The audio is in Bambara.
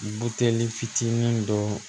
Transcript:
Buteli fitinin dɔ